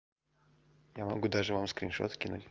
я могу даже вам скриншот скинуть